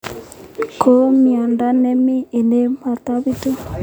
Ko miondo ne mining ne matapitu.